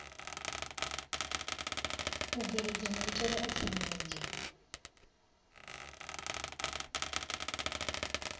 u bveledza maitele a tsireledzo